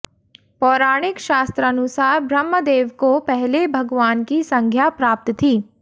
पौराणिक शास्त्रानुसार ब्रह्मदेव को पहले भगवान की संज्ञा प्राप्त थी